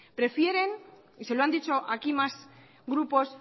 prefieren y se lo han dicho aquí más grupos